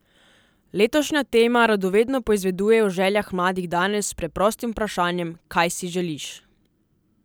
Letošnja tema radovedno poizveduje o željah mladih danes s preprostim vprašanjem Kaj si želiš?